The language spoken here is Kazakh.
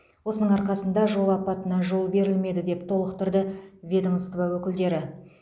осының арқасында жол апатына жол берілмеді деп толықтырды ведомство өкілдері